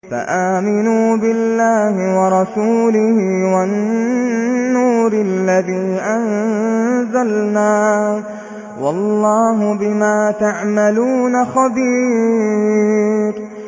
فَآمِنُوا بِاللَّهِ وَرَسُولِهِ وَالنُّورِ الَّذِي أَنزَلْنَا ۚ وَاللَّهُ بِمَا تَعْمَلُونَ خَبِيرٌ